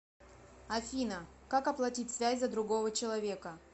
афина как оплатить связь за другого человека